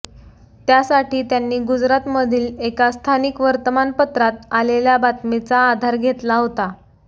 त्यासाठी त्यांनी गुजरातमधील एका स्थानिक वर्तमानपत्रात आलेल्या बातमीचा आधार घेतला होता